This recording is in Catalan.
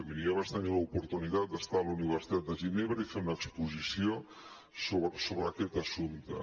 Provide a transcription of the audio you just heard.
miri jo vaig tenir l’oportunitat d’estar a la universitat de ginebra i fer una exposició sobre aquest assumpte